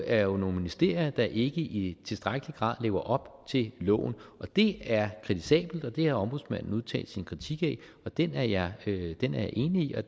er jo nogle ministerier der ikke i tilstrækkelig grad lever op til loven det er kritisabelt og det har ombudsmanden udtalt sin kritik af den er jeg enig i og